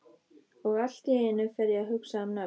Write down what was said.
Og allt í einu fer ég að hugsa um nöfn.